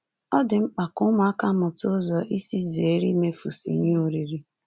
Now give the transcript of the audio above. Ọ dị mkpa ka ụmụaka mụta ụzọ isi zere imefusị ihe oriri.